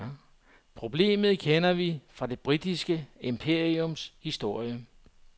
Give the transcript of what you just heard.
Problemet kender vi fra det britiske imperiums historie.